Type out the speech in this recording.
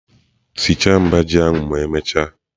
Sichaa mba ji ahụ ma emechaa.